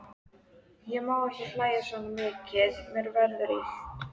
Ég má ekki hlæja svona mikið, mér verður illt!